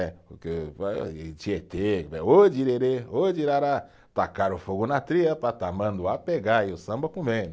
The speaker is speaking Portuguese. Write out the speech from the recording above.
É, porque Tietê ô direrê, ô dirará, tacaram fogo na tria para tamanduá pegar, e o samba comendo.